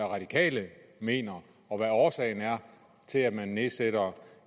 radikale mener og hvad årsagen er til at man nedsætter